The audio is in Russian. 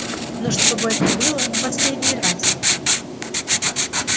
но чтобы это было в последний раз